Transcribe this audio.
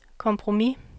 kompromis